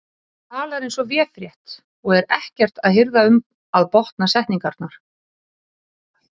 Hann talar eins og véfrétt og er ekkert að hirða um að botna setningarnar.